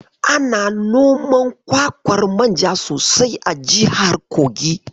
Ana noman kwakwar manja sosai a jihar Kogi.